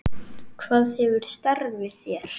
Hvað gefur starfið þér?